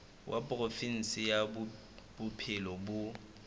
wa provinse ya bophelo bo